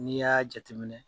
N'i y'a jate minɛ